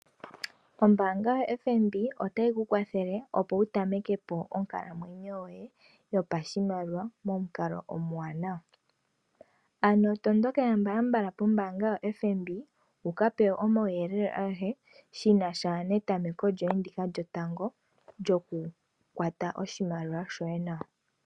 Ombaanga yaFNB otayi kukwathele opo wu tameke po onkalamwenyo yoye yopashimaliwa momukalo omawanawa. Ano tondokela mbala mbala pombaanga yoFNB wuka pewe omauyelele agehe shinasha netameko lyoye ndika lyotango lyokukwata oshimaliwa shoye nawa.